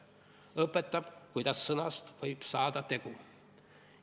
Õpetab, kuidas sõnast võib saada tegu.